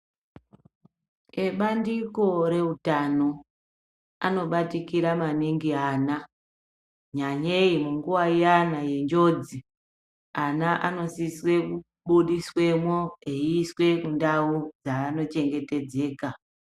Ebandiko reutano anobatikira maningi ana nyanyei munguva iyana yenjodzi. Ana anosise kubudiswemo eiiswe kundau dzaanochengetedzeka.